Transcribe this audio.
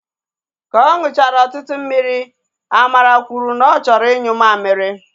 Ka ọ nụchara ọtụtụ mmiri, Amara kwuru na ọ chọrọ inyu mamịrị